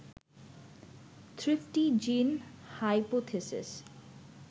thrifty gene hypothesis